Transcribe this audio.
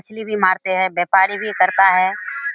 इसलिए भी मारते हैं व्यापारी भी करता हैं।